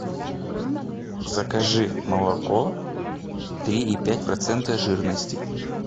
закажи молоко три и пять процента жирности